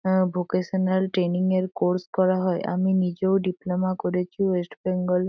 আহ vocational training এর course করা হয় আমি নিজেও ডিপ্লোমা করেছি ওয়েস্ট বেঙ্গল --